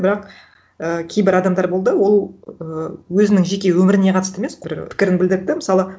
бірақ і кейбір адамдар болды ол і өзінің жеке өміріне қатысты емес бір пікірін білдірді да мысалы